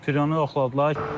Friyonu yoxladılar.